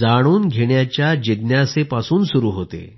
जाणून घेण्याची जिज्ञासेपासून सुरु होते